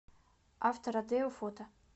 автородео фото